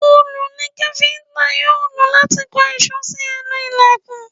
Òòlù ni káfíntà yóò lò láti kan ìṣó sí ẹnu ìlẹ̀kùn.